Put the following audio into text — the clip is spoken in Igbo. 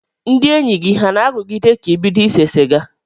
Ndị enyi gị ha na-arụgide ka ịbido ise siga?